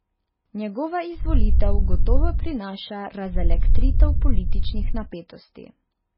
Njegova izvolitev gotovo prinaša razelektritev političnih napetosti.